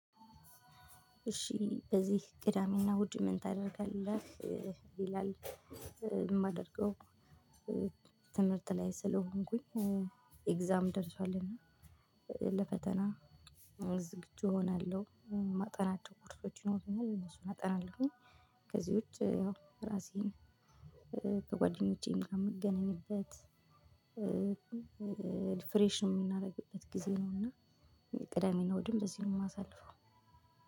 እሺ በዚህ ቅዳሜ እና እሁድ ምን ታደርጋለህ? ይላል። የማደርገው ትምህርት ላይ ስለሆንኩኝ ኤግዛም ደርሷልና ለፈተና ዝግጁ እሆናለሁ። እማጠናቸው ኮርሶች ይኖሩኛል እነሱን አጠናለሁኝ። ከዚህ ውጪ ያው ራሴን ከጓደኞቼ ጋር እምገናኝበት ሪፍሬሽን የምናደርግበት ጊዜ ነው። እና ቅዳሜና እሁድን በዚህ ነው የማሳልፈው።